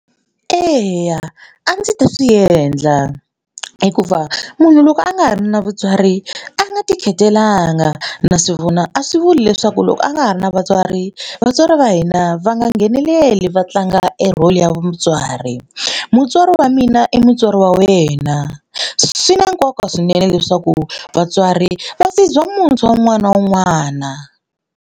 Eya a ndzi ta swi endla hikuva munhu loko a nga ha ri na vatswari a nga tikhetelanga na swi vona a swi vuli leswaku loko a nga ha ri na vatswari vatswari va hina va va nga ngheneleli va tlanga e role ya mutswari. Mutswari wa mina i mutswari wa wena swi na nkoka swinene leswaku vatswari muntshwa wun'wana na wun'wana.